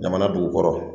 Jamana dugu kɔrɔ